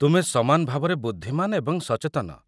ତୁମେ ସମାନ ଭାବରେ ବୁଦ୍ଧିମାନ ଏବଂ ସଚେତନ।